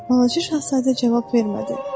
Balaca şahzadə cavab vermədi.